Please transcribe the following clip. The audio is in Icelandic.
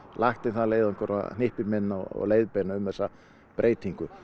lagt í þann leiðangur að hnippa í menn og leiðbeina um þessa breytingu